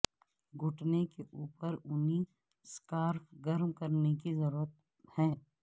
گھٹنے کے اوپر اونی سکارف گرم کرنے کی ضرورت ہے